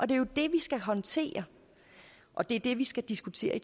det er jo det vi skal håndtere og det er det vi skal diskutere